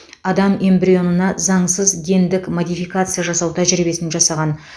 адам эмбрионына заңсыз гендік модификация жасау тәжірибесін жасаған